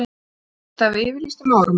Ég missti af yfirlýstum áramótum.